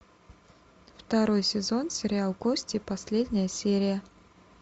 второй сезон сериал кости последняя серия